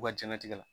U ka jɛnnatigɛ la